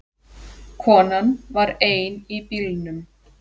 Konan var ein í bílnum.